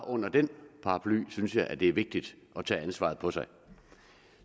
under den paraply synes jeg det er vigtigt at tage ansvaret på sig